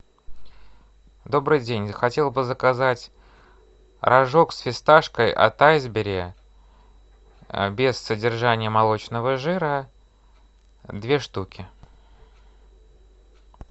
добрый день хотел бы заказать рожок с фисташкой от айсберри без содержания молочного жира две штуки